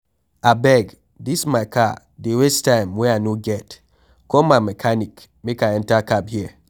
Abeg dis my car dey waste time wey I no get, call my mechanic make I enter cab here.